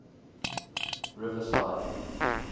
riverside